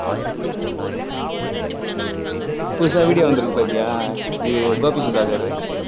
புதுசா video வந்திருக்கு பாத்தியா இது கோபி சுதாகர்